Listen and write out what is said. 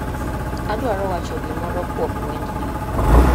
Adwaro wacho gimoro kuom wendni